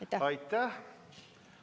Aitäh!